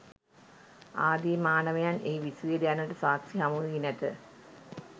ආදි මානවයන් එහි විසුවේද යන්නට සාක්කි හමුවී නැත.